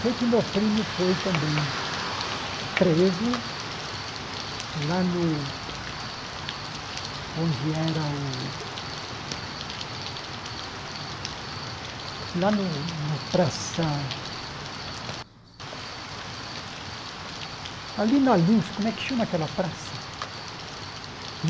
Sei que meu primo foi também preso lá no... onde era o... Lá na Praça... Ali na Luz, como é que chama aquela praça?